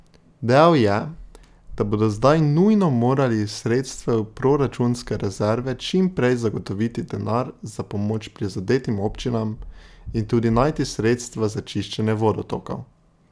Dejal je, da bodo zdaj nujno morali iz sredstev proračunske rezerve čim prej zagotoviti denar za pomoč prizadetim občinam in tudi najti sredstva za čiščenje vodotokov.